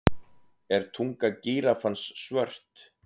Er tunga gíraffans svört?